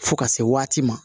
Fo ka se waati ma